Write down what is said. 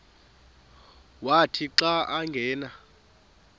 wathi xa angena